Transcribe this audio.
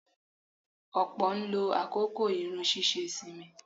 Ọ̀pọ̀ ló ń àkókò irun ṣíṣe sinmi.